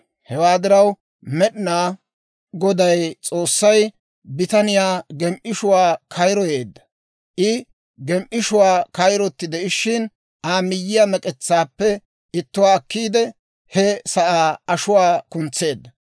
Hewaa diraw Med'inaa Goday S'oossay bitaniyaa gem"ishshuwaa kayroyeedda; I gem"ishshuwaa kayrotti de'ishshin, Aa miyyiyaa mek'etsaappe ittuwaa akkiidde, he sa'aa ashuwaa kuntseedda.